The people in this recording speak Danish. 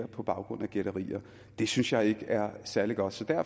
på baggrund af gætterier det synes jeg ikke er særlig godt